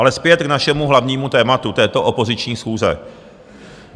Ale zpět k našemu hlavnímu tématu této opoziční schůze.